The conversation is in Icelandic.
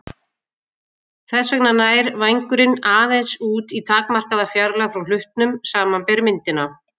Þess vegna nær vængurinn aðeins út í takmarkaða fjarlægð frá hlutnum, samanber myndina.